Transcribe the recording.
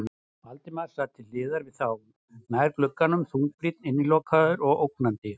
Valdimar sat til hliðar við þá, nær glugganum, þungbrýnn, innilokaður og ógnandi.